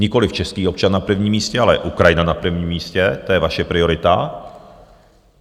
Nikoliv český občan na prvním místě, ale Ukrajina na prvním místě, to je vaše priorita.